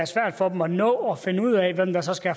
svært for dem at nå at finde ud af hvem der så skal